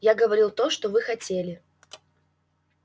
я говорил то что вы хотели